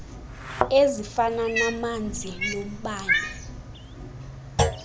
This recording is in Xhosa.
ezifana namanzi nombane